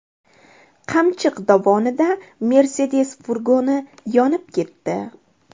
Qamchiq dovonida Mercedes furgoni yonib ketdi.